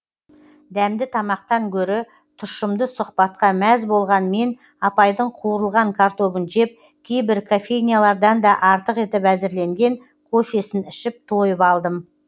дәмді тамақтан гөрі тұщымды сұхбатқа мәз болған мен апайдың қуырылған картобын жеп кейбір кофейнялардан да артық етіп әзірленген кофесін ішіп тойып алдым